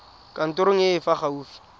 kantorong e e fa gaufi